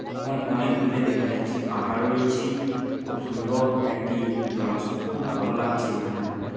এবং অনেক দূরে দেখা যাচ্ছে পাহাড় রয়েছে খুব সুন্দর একটি জলাশয় খুব ভালো লাগছে এখানে আমাকে |